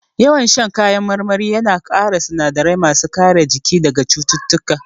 Yawan shan kayan marmari ya na ƙara sinadarai ma su kare jiki daga cututtuka